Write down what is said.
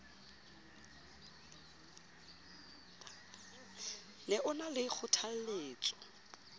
ne o na le kgothalletso